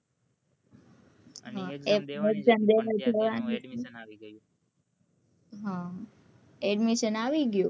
addmisson આવી ગયું હ addmisson આવી ગયું